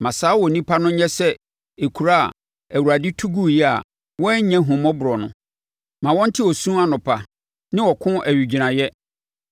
Ma saa onipa no nyɛ sɛ nkuro a Awurade tuguiɛ a wannya ahummɔborɔ no. Ma ɔnte osu anɔpa, ne ɔko owigyinaeɛ.